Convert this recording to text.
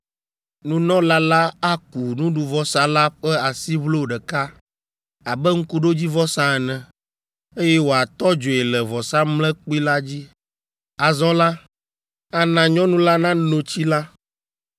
Nunɔla la aku nuɖuvɔsa la ƒe asiʋlo ɖeka abe ŋkuɖodzivɔsa ene, eye wòatɔ dzoe le vɔsamlekpui la dzi. Azɔ la, ana nyɔnu la nano tsi la.